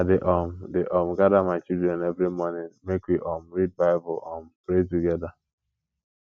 i dey um dey um gada my children every morning make we um read bible um pray togeda